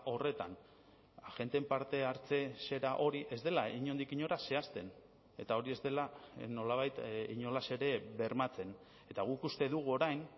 horretan agenteen parte hartze zera hori ez dela inondik inora zehazten eta hori ez dela nolabait inolaz ere bermatzen eta guk uste dugu orain